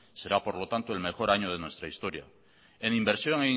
será por lo tanto el mejor año de nuestra historia en inversión